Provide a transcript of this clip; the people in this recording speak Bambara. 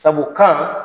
Sabu kan